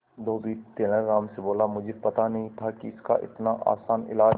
धोबी तेनालीराम से बोला मुझे पता नहीं था कि इसका इतना आसान इलाज है